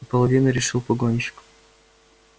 половину решил погонщик